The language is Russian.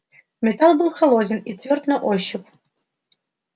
металл был холоден и твёрд на ощупь